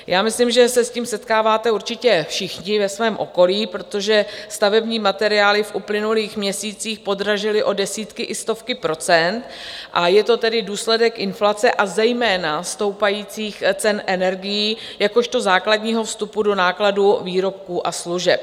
Já myslím, že se s tím setkáváte určitě všichni ve svém okolí, protože stavební materiály v uplynulých měsících podražily o desítky i stovky procent, a je to tedy důsledek inflace a zejména stoupajících cen energií jakožto základního vstupu do nákladů výrobků a služeb.